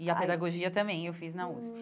E a pedagogia também eu fiz na USP. Hum